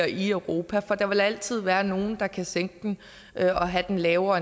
i europa for der vil altid være nogle der kan sænke den og have en lavere